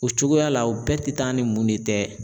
O cogoya la o bɛɛ tɛ taa ni mun de tɛ.